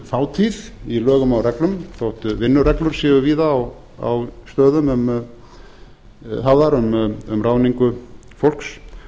fátíð í lögum og reglum þótt vinnureglur séu víða á stöðum hafðar um ráðningu fólks